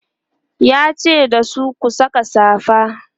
yace dasu "ku Saka safa!"